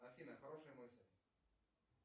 афина хорошая мысль